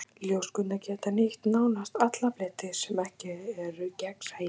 Ljóskurnar geta nýtt nánast alla fleti sem ekki eru gegnsæir.